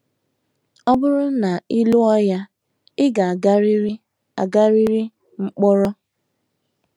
“ Ọ bụrụ na ị lụọ ya, ị ga - agarịrị agarịrị mkpọrọ. ”